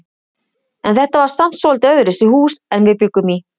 En þetta var samt svolítið öðruvísi hús en við bjuggum í.